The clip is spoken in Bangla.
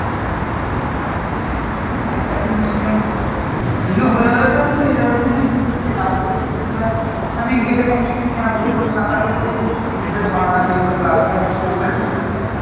হ্যাঁ সেটা তো নিশ্চয়ই বিয়ে হয়ে গেলে তো আর তুই যেতে পারবি না কিছুদিন তো লাগবেই ওখানে গেলে কমছে কম এক বছর না থাকলে তো তোর ticket এর ভাড়া যেগুলো লাগে আরকি ওগুলোই উঠবে না তোর।